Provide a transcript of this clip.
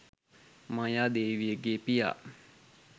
මායා දේවියගේ පියා